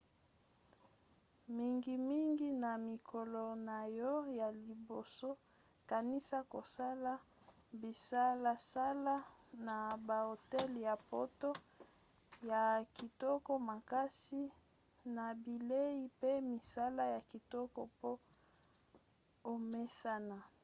mingimingi na mikolo na yo ya liboso kanisa kosala bisalasala na bahotel ya poto ya kitoko makasi na bilei pe misala ya kitoko po omesana